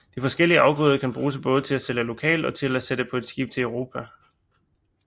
De forskellige afgrøder kan bruges både til at sælge lokalt og til at sætte på skib til Europa